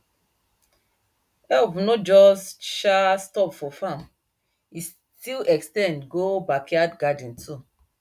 help no just um stop for farm e still ex ten d go backyard garden too